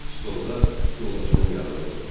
Stolda yoldaşının yanında oturdu.